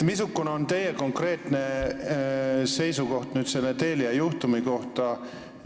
Missugune on teie konkreetne seisukoht selle Telia juhtumi kohta?